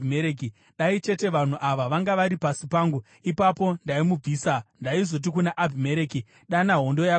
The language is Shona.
Dai chete vanhu ava vanga vari pasi pangu! Ipapo ndaimubvisa. Ndaizoti kuna Abhimereki, ‘Dana hondo yako yose!’ ”